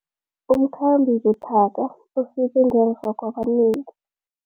Umkhambi buthaka ufike ngemva kwabanengi.